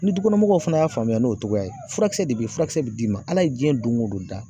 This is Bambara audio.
Ni du kɔnɔ mɔgɔw fana y'a faamuya n'o togoya ye furakisɛ de be ye, furakisɛ be d'i ma. Ala ye diɲɛ doŋo don da